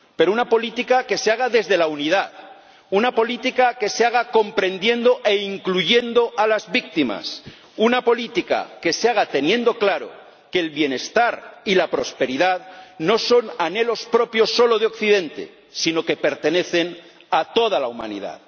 Pero una política que se haga desde la unidad, una política que se haga comprendiendo e incluyendo a las víctimas, una política que se haga teniendo claro que el bienestar y la prosperidad no son anhelos propios solo de Occidente, sino que pertenecen a toda la humanidad.